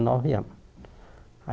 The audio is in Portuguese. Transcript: Nove anos.